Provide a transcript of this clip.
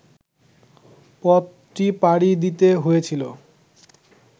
পথটি পাড়ি দিতে হয়েছিল